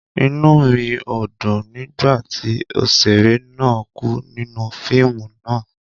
Inú mi o dùn nigbati oṣere náà ku nínú fíìmù náà